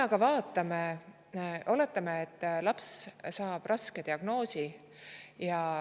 Oletame, et laps saab raske diagnoosi.